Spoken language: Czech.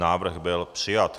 Návrh byl přijat.